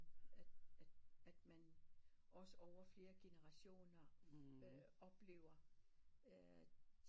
At at at man også over flere generationer øh oplever øh